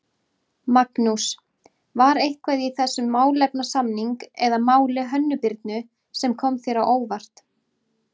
Magnús: var eitthvað í þessum málefnasamning eða máli Hönnu Birnu sem kom þér á óvart?